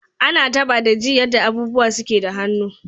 Ana taba da ji yadda abubuwa suke da hannu.